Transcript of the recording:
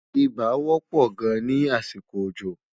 ibà wò pò gáàn ní àsìkò òjò